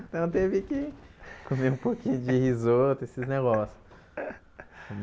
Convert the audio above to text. Então teve que comer um pouquinho de risoto, esses negócios.